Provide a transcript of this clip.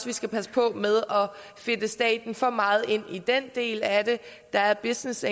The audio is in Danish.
vi skal passe på med at fedte staten for meget ind i den del af det der er business